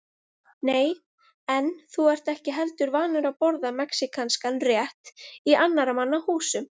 Nei, en þú ert ekki heldur vanur að borða mexíkanskan rétt í annarra manna húsum